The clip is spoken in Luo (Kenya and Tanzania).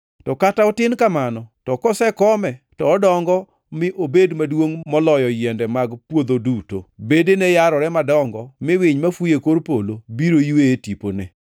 To kata otin kamano to kosekome to odongo mi obed maduongʼ moloyo yiende mag puodho duto. Bedene yarore madongo mi winy mafuyo e kor polo biro ywe e tipone.”